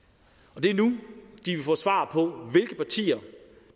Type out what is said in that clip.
og det er nu de vil få svar på hvilke partier